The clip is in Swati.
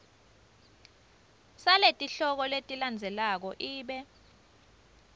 saletihloko letilandzelako ibe